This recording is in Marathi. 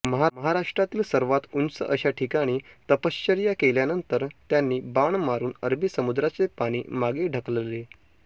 महाराष्ट्रातील सर्वात उंच अशा ठिकाणी तपश्चर्या केल्यानंतर त्यांनी बाण मारून अरबी समुद्राचे पाणी मागे ढकलले